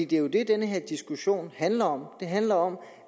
det er jo det den her diskussion handler om den handler om